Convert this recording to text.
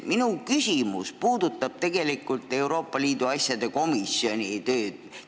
Minu küsimus puudutab Euroopa Liidu asjade komisjoni tööd.